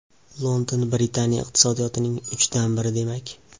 London Britaniya iqtisodiyotining uchdan biri demak.